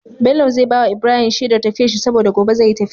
Bello zai bawa Musa Shedar tafiyar shi saboda gobe zai yi tafiya